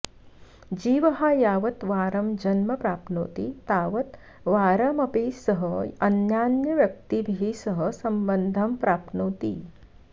जीवः यावत् वारं जन्म प्राप्नोति तावद् वारमपि सः अन्यान्यव्यक्तिभिः सह सम्बन्धं प्राप्नोति